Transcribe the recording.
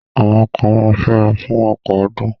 Àwọn kan ma fẹ́ra fún ọ̀pọ̀ ọdún.